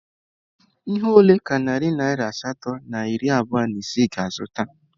Ihe ole ka narị naira asatọ na iri abụọ na isii ga-azụta??